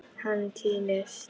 Hann týnist.